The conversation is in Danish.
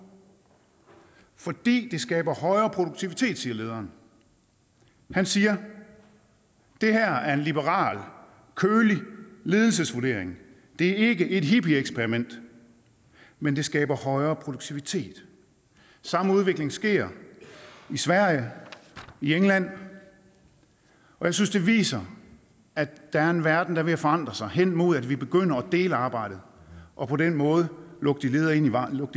fordi det skaber højere produktivitet siger lederen han siger det her er en liberal kølig ledelsesvurdering det er ikke et hippieeksperiment men det skaber højere produktivitet samme udvikling sker i sverige i england og jeg synes det viser at der er en verden der er ved at forandre sig hen imod at vi begynder at dele arbejdet og på den måde lukke de ledige ind i varmen